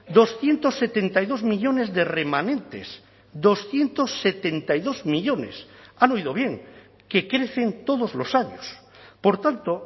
doscientos setenta y dos millónes de remanentes doscientos setenta y dos millónes han oído bien que crecen todos los años por tanto